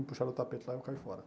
Me puxaram do tapete lá e eu caí fora.